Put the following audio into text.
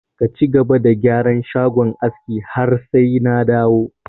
Ka cigaba da gyaran shagon askin har sai na dawo!